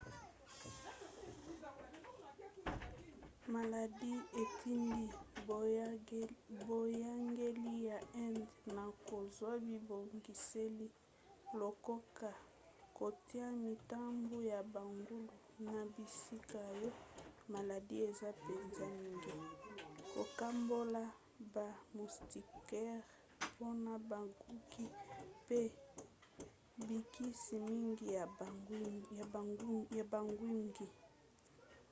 maladi etindi boyangeli ya inde na kozwa bibongiseli lokoka kotia mitambu ya bangulu na bisika oyo maladi eza mpenza mingi kokabola ba moustiquaire mpona bangungi mpe bikisi mingi ya bangungi